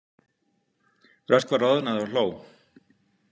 Röskva roðnaði og hló.